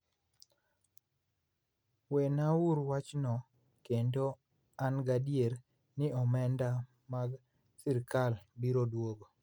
Wenauru wachno kendo an gadier ni omenda mag sirkalgo biro duogo.